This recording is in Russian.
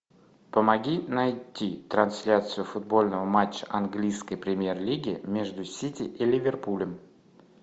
помоги найти трансляцию футбольного матча английской премьер лиги между сити и ливерпулем